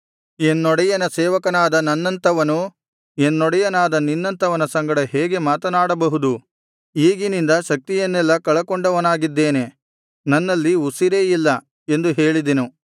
ಎನ್ನೊಡೆಯನ ಸೇವಕನಾದ ನನ್ನಂಥವನು ಎನ್ನೊಡೆಯನಾದ ನಿನ್ನಂಥವನ ಸಂಗಡ ಹೇಗೆ ಮಾತನಾಡಬಹುದು ಈಗಿನಿಂದ ಶಕ್ತಿಯನ್ನೆಲ್ಲಾ ಕಳಕೊಂಡವನಾಗಿದ್ದೇನೆ ನನ್ನಲ್ಲಿ ಉಸಿರೇ ಇಲ್ಲ ಎಂದು ಹೇಳಿದೆನು